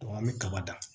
an bɛ kaba ta